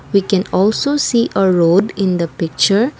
we can also see uh road in the picture.